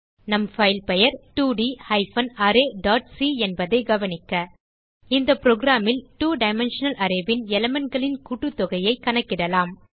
நம் பைல் பெயர் 2ட் ஹைபன் அரே டாட் சி என்பதை கவனிக்க இந்த programல் 2 டைமென்ஷனல் arrayன் எலிமெண்ட் களின் கூட்டுத்தொகையைக் கணக்கிடலாம்